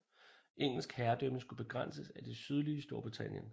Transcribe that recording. Engelsk herredømme skulle begrænses til det sydlige Storbritannien